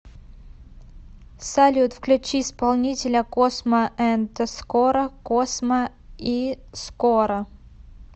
салют включи исполнителя космо энд скоро космо и скоро